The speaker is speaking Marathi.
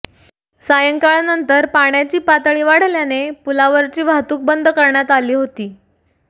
सायंकाळनंतर पाण्याची पातळी वाढल्याने पुलावरची वाहतूक बंद करण्यात आली होती